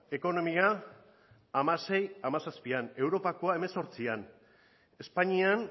ekonomia ehuneko hamaseihamazazpian europakoa ehuneko hemezortzian espainian